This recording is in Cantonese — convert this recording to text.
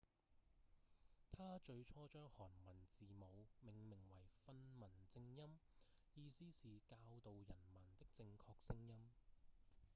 他最初將韓文字母命名為「訓民正音」意思是「教導人民的正確聲音」